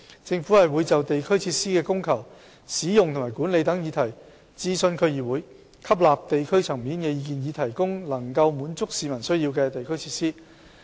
政府會就地區設施的供求、使用及管理等議題諮詢區議會，吸納地區層面的意見，以提供能夠滿足市民需要的地區設施。